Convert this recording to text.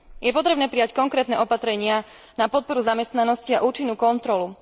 Je potrebné prijať konkrétne opatrenia na podporu zamestnanosti a účinnú kontrolu.